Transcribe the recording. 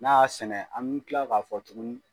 N'a y'a sɛnɛ an mi kila k'a fɔ tuguni